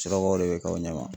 Surakaw de bɛ k'aw ɲɛ ma.